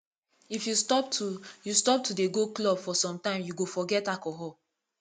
if you stop to you stop to dey go club for some time you go forget alcohol